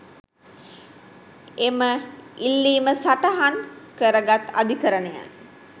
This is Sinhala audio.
එම ඉල්ලීම සටහන් කරගත් අධිකරණය